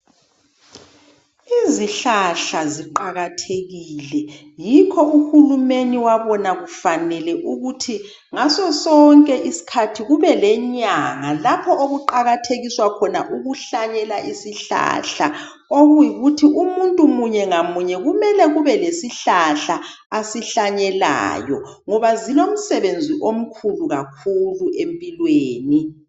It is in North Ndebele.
Izihlahla ziqakathekile yikho uhulumeni wabona kufanele ukuthi ngasosonke isikhathi kube lenyanga lapho okuqakathekiswa khona ukuhlanyela isihlahla okuyikuthi umuntu munye lamunye kumele kube lesihlahla asihlanyelayo ngoba zilomsebenzi omkhulu kakhulu empilweni.